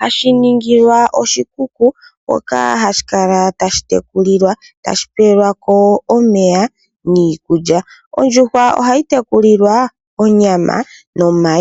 hashi ningilwa oshikuku hoka hashi kala tashi tekulilwa, tashi pewa omeya niikulya. Ondjuhwa ohayi tekulilwa onyama nomayi.